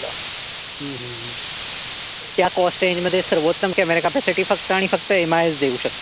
त्या coast range मध्ये सर्वोत्तम क्यामेरा क्यापिसिटी फक्त आणि फक्त एम आयच देऊ शकत.